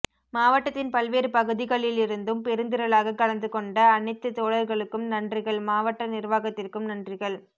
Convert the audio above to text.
மாவட்டத்தின் பல்வேறு பகுதிகளிலிருந்தும் பெருந்திரளாக கலந்துகொண்ட அனைத்து தோழர்களுக்கும் நன்றிகள் மாவட்ட நிர்வாகத்திற்கும் நன்றிகள்